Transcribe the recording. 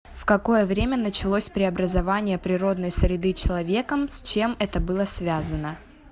в какое время началось преобразование природной среды человеком с чем это было связано